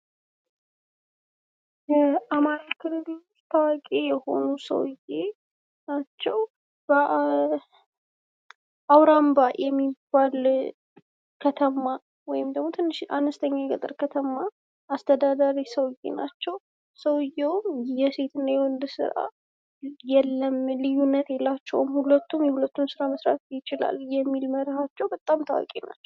አማራ ክልል ውስጥ ታዋቂ የሆኑ ሰውየ ናቸው። አውራምባ የሚባል ከተማ ወይም ደግሞ ትንሽ አነስተኛ የገጠር ከተማ አስተዳዳሪ ሰውዬ ናቸው። ሰውዬውም “የሴት እና የወንድ ስራ የለም”፣“ልዩነት የላቸውም”፣“ሁለቱም የሁለቱን ስራ መስራት ይችላሉ”የሚል መርሐቸው በጣም ታዋቂ ናቸው።